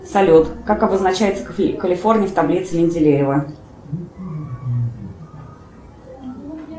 салют как обозначается калифорний в таблице менделеева